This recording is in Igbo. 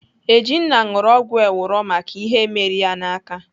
Ejinna ṅụrụ ọgwụ ewuro maka ihe mere ya n'aka.